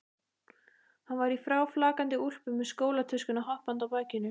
Hann var í fráflakandi úlpu með skólatöskuna hoppandi á bakinu.